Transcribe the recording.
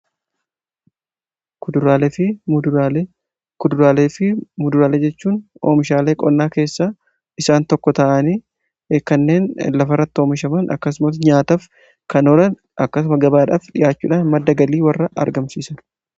Kuduraalee fi Muduraalee jechuun oomishaalee qonnaa keessa isaan tokko ta'anii kanneen lafarratti oomishaman ,akkasumas nyaataaf kan oolan, akkasuma gabaadhaaf dhi'aachuudhaan madda galii warra argamsiisaniidha.